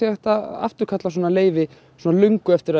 hægt að afturkalla svona leyfi löngu eftir að